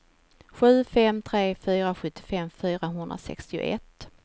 sju fem tre fyra sjuttiofem fyrahundrasextioett